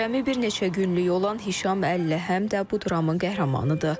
Cəmi bir neçə günlük olan Hişam Əli həm də bu dramın qəhrəmanıdır.